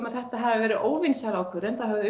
að þetta hefði verið óvinsæl ákvörðun þá hefði